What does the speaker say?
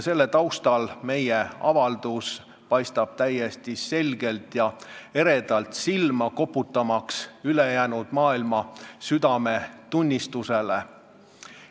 Selle taustal paistab meie avaldus täiesti selgelt ja eredalt silma, koputamaks ülejäänud maailma südametunnistusele.